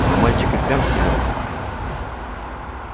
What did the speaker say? но мальчик и впрямь силён